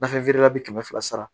Nafɛn feerela bi kɛmɛ fila sara